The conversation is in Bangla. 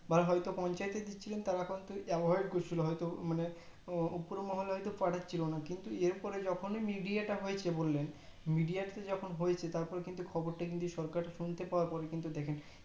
বা হয়তো পঞ্চায়েত দিচ্ছিলেন তারা কিন্তু avoid করছিলো হয়তো মানে উপর মহলে হয়তো পাঠাচ্ছিল না কিন্তু এর পরে যখনই media তা হয়েছে বুলালেন media তা যখন হয়েছে তারপরে কিন্তু খবরটা কিন্তু সরকার শুনতে পাওয়ার পর কিন্তু দেখেন